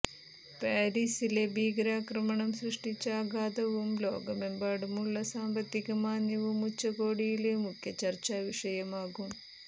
പാരിസിലെ ഭീകരാക്രമണം സൃഷ്ടിച്ച ആഘാതവും ലോകമെമ്പാടുമുള്ള സാമ്പത്തിക മാന്ദ്യവും ഉച്ചകോടിയില് മുഖ്യ ചര്ച്ചാവിഷയമാകും